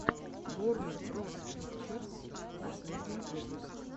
ворнер броз пикчерз последний выпуск